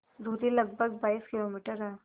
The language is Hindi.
दूरी लगभग बाईस किलोमीटर है